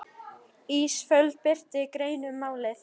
Ísafold birti grein um málið